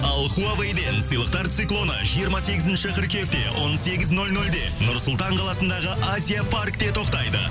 ал хуавейден сыйлықтар циклоны жиырма сегізінші қыркүйекте он сегіз нөл нөлде нұр сұлтан қаласындағы азия паркте тоқтайды